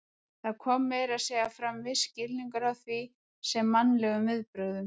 Það kom meira að segja fram viss skilningur á því sem mannlegum viðbrögðum.